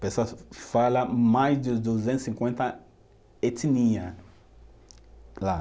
Pessoas fala mais de duzentos e cinquenta etnia lá.